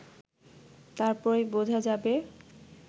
তারপরই বোঝা যাবে